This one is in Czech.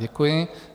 Děkuji.